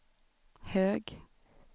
hög